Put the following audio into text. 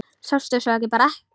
Sástu svo bara ekkert?